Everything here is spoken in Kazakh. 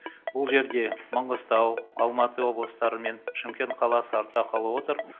бұл жерде маңғыстау алматы облыстары мен шымкент қаласы артта қалып отыр